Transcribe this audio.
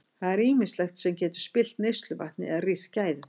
Það er ýmislegt sem getur spillt neysluvatni eða rýrt gæði þess.